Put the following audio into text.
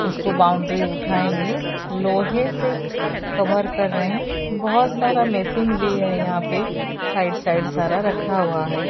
इसको बाउंड्री उठाएंगे लोहे से कभर रहे हैं बहोत सारा मेशीन भी है यहां पे साइड साइड सारा रखा हुआ है।